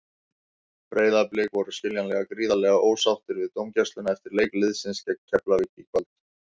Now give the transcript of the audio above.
Breiðablik voru skiljanlega gríðarlega ósáttir við dómgæsluna eftir leik liðsins gegn Keflavík í kvöld.